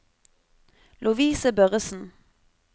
Lovise Børresen